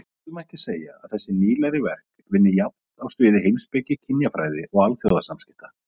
Jafnvel mætti segja að þessi nýlegri verk vinni jafnt á sviði heimspeki, kynjafræði og alþjóðasamskipta.